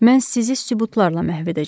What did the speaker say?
Mən sizi sübutlarla məhv edəcəm.